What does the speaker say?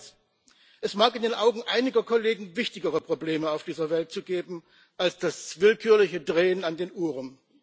Zweitens Es mag in den Augen einiger Kollegen wichtigere Probleme auf dieser Welt geben als das willkürliche Drehen an den Uhren.